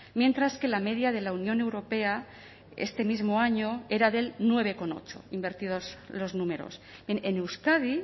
mientras que la media de la unión europea este mismo año era del nueve coma ocho invertidos los números en euskadi